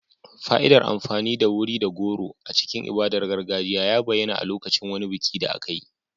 Fa'idar amfani da wuri da goro a cikin ibadar gargajiya ya bayyana a lokacin wani biki da aka yi.